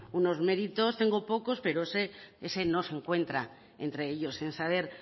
unos méritos tengo pocos pero sé que ese no se encuentra entre ellos sin saber